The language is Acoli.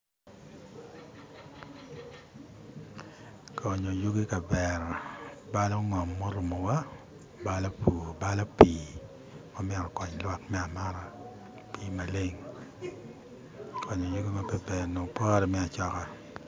Onyo yugi ikavera balo ngom ma orumowa balo pur balo pii ma myero okony lwak me amata pii maleng onyo yugi ma pe ber onongo pore me acoka